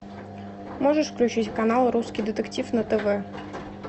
можешь включить канал русский детектив на тв